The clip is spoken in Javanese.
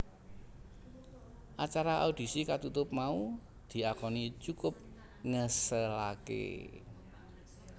Acara audisi katutup mau diakoni cukup ngeselaké